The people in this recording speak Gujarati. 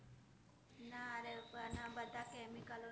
બધા chemical